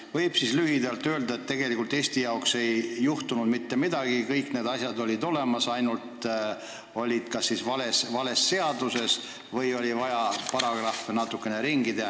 Kas võib siis lühidalt öelda, et tegelikult ei juhtu Eestis mitte midagi, kõik need asjad olid olemas, nad olid ainult kas vales seaduses või oli vaja paragrahve natukene ümber teha?